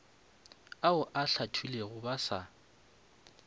ao a hlathilwego ba sa